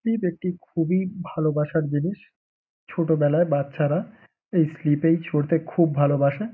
Slip একটি খুবই ভালবাসার জিনিস। ছোটবেলায় বাচ্চারা এই স্লিপ -এই চড়তে খুব ভালবাসে।